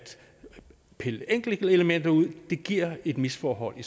pille enkeltelementer ud giver et misforhold i